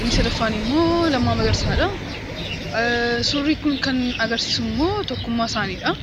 inni sadaffaan immoo Lammaa Magarsaadha. Suurri kun kaninni agarsiisummoo tokkummaa isaaniidha.